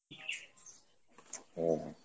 হম।